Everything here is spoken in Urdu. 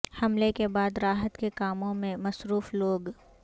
حملے کے بعد راحت کے کاموں میں مصروف لوگ